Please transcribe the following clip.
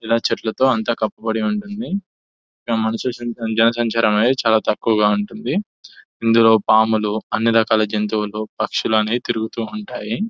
ఇలా చెట్లతో అంత కప్పబడి ఉంటుంది ఇక్కడ మనుషుల జనసంచారం చాలా తక్కువగా ఉంటుంది ఇందులో పాములు అన్ని రకాల జంతువులు పక్షులు అనేవి తిరుగుతూ ఉంటాయి --